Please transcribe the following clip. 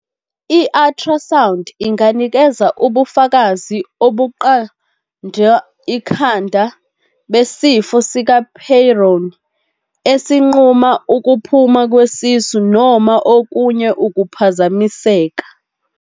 I-ultrasound inganikeza ubufakazi obuqand 'ikhanda besifo sikaPeyronie, esinquma ukuphuma kwesisu noma okunye ukuphazamiseka.